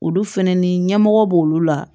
Olu fɛnɛ ni ɲɛmɔgɔ b'olu la